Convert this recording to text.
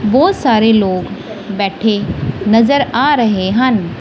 ਬਹੁਤ ਸਾਰੇ ਲੋਕ ਬੈਠੇ ਨਜ਼ਰ ਆ ਰਹੇ ਹਨ।